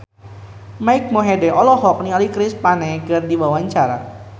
Mike Mohede olohok ningali Chris Pane keur diwawancara